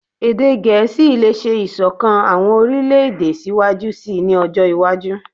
Ede Gẹẹsi le ṣe isokan awọn orilẹ-ede siwaju sii ni ọjọ iwaju